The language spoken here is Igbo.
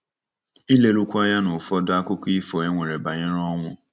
Ilerukwu Anya n’Ụfọdụ Akụkọ Ifo E Nwere Banyere Ọnwụ.